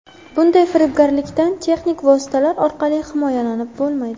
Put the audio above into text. Bunday firibgarlikdan texnik vositalar orqali himoyalanib bo‘lmaydi.